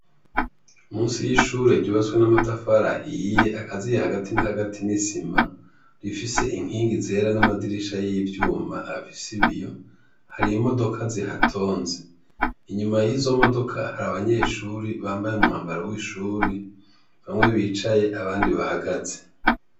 Munsi y'ishure ryubatswe n'amatafari ahiye akaziye, hagati na hagati n'isima rifise inkingi zera n'amadirisha y'ivyuma afise ibiyo, har'imodoka zihatonze, inyuma yizo modoka hari abanyeshure bambaye umwambaro w'ishuri bamwe bicaye abandi bahagaze .